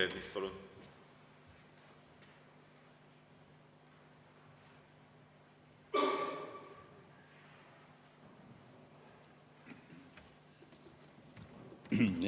Peeter Ernits, palun!